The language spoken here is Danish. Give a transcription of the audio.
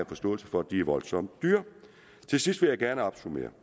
forståelse for at det er voldsomt dyrt til sidst vil jeg gerne opsummere